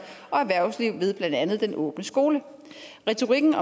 og erhvervslivet ved blandt andet den åbne skole retorikken